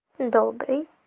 добрый